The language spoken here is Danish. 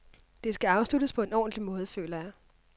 Det skal afsluttes på en ordentlig måde, føler jeg.